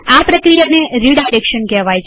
આ પ્રક્રિયાને રીડાયરેક્શન કહેવાય છે